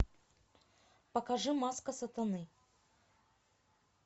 покажи маска сатаны